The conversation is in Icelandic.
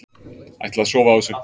Ætla að sofa á þessu